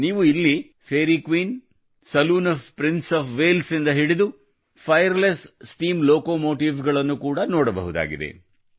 ನೀವು ಇಲ್ಲಿ Fairy Queen saloon of Prince of Wales ರಿಂದ ಹಿಡಿದು Firelessಫಾಯರ್ಲೆಸ್ ಸ್ಟೀಮ್ ಲೋಕೊಮೋಟಿವ್ ಗಳನ್ನು ಕೂಡ ನೋಡಬಹುದಾಗಿದೆ